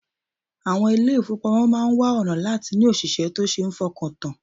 Àwọn ilé-ìfowópamọ́ máa wá ọ̀nà láti ní òṣìṣẹ́ tó ṣe fọkàntàn